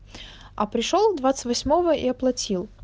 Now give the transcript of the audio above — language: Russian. а пришёл двадцать восьмого и оплатил